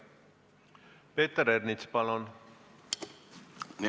Peeter Ernits, palun!